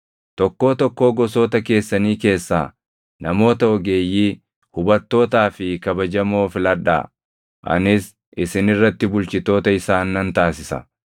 Tokkoo tokkoo gosoota keessanii keessaa namoota ogeeyyii, hubattootaa fi kabajamoo filadhaa; anis isin irratti bulchitoota isaan nan taasisa.”